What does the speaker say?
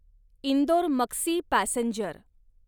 Indore Maksi passenger